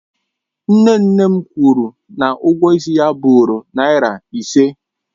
Nne nne m kwụrụ na ụgwọ ịsị bụụrụ naira ise.